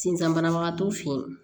Sinzan banabagatɔ feyi